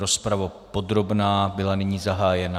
Rozprava podrobná byla nyní zahájena.